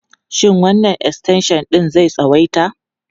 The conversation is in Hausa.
Shin wannan extension ɗin zai tsawaita?